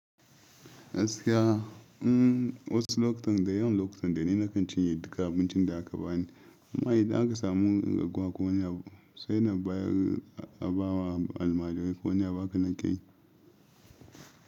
Gaskiya, in wasu lokutan dai da yawan lokutan dai ni nakan cinye duka abincin da aka bani. Amma idan aka samu gaggawa ko wani abu, sai nan bayar a bawa almajirai ko wani ya ba ka nan kai.